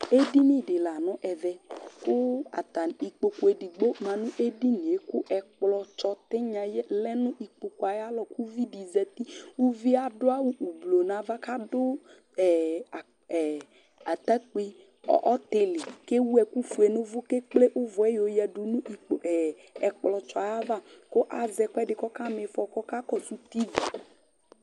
ɛɗiɲiɗi lă ɲụ ɛvẽ kʊtạ ĩkpokʊ ɛɗigbo mɑṅʊ ɛɗiɲiɛ kʊ ɛkplotsɔ tiɲyɑ lɛ ɲʊ lkpokʊɑ yɑlɔ kʊviɗi zɑti ɑɗʊɑwω ʊblu ɲɑvã kɑɗʊ ɑtạkpi ɔtili kɛwʊɛkufuɛ ɲʊwω kɛkplé ʊvʊɛ ƴɔyɛɗʊ ɲʊ ẽkplosəɑvɑ kʊ ɑzékʊɛɗi ɔkɑmifɔ kɔkɑkọsʊti